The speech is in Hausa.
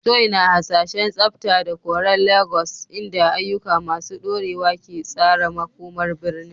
Joy na hasashen tsafta da koren Legas, inda ayyuka masu dorewa ke tsara makomar birnin.